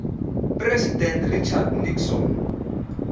president richard nixon